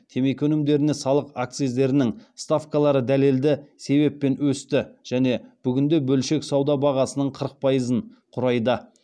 темекі өнімдеріне салық акциздерінің ставкалары дәлелді себеппен өсті және бүгінде бөлшек сауда бағасының қырық пайызын құрайды